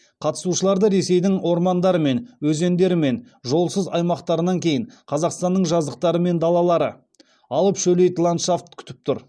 қатысушыларды ресейдің ормандары мен өзендері мен жолсыз аймақтарынан кейін қазақстанның жазықтары мен далалары алып шөлейт ландшафт күтіп тұр